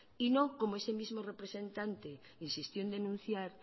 y no como ese mismo representante insistió en denunciar